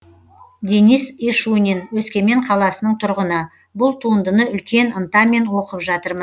денис ишунин өскемен қаласының тұрғыны бұл туындыны үлкен ынтамен оқып жатырмын